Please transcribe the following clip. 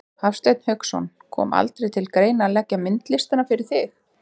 Hafsteinn Hauksson: Kom aldrei til greina að leggja myndlistina fyrir þig?